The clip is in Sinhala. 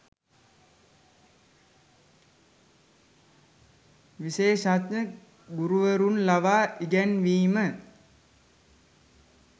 විශේෂඥ ගුරුවරුන් ලවා ඉගැන්වීම